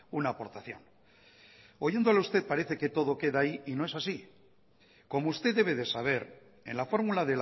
una aportación oyéndole a usted parece que todo queda ahí y no es así como usted debe de saber en la fórmula